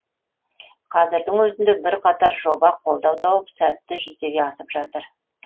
қазірдің өзінде бірқатар жоба қолдау тауып сәтті жүзеге асып жатыр